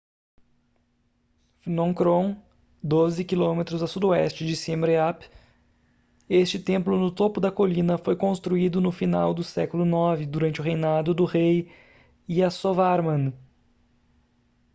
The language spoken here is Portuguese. phnom krom 12 km a sudoeste de siem reap este templo no topo da colina foi construído no final do século 9 durante o reinado do rei yasovarman